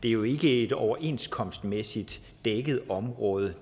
er jo ikke et overenskomstmæssigt dækket område